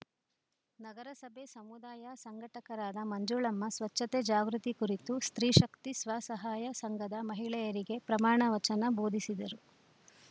ನಗರಸಭೆ ಸಮುದಾಯ ಸಂಘಟಕರಾದ ಮಂಜುಳಮ್ಮ ಸ್ವಚ್ಛತೆ ಜಾಗೃತಿ ಕುರಿತು ಸ್ತ್ರೀಶಕ್ತಿ ಸ್ವಸಹಾಯ ಸಂಘದ ಮಹಿಳೆಯರಿಗೆ ಪ್ರಮಾಣ ವಚನ ಬೋಧಿಸಿದರು